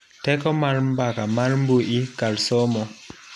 Teko mar mbaka mar mbui kar somo.